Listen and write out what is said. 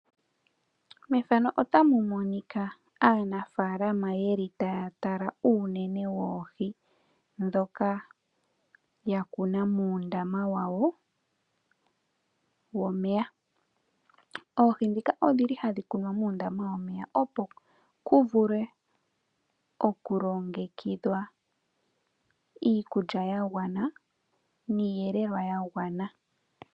Aanafalama ohaya tala uunene woohi ndhoka ya kuna muundama wawo womeya. Oohi ndhika odhi li hadhi kunwa muundama womeya, opo ku vulwe okulongekidhwa iikulya ya gwana niiyelelwa ya gwana.